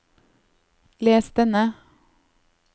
les denne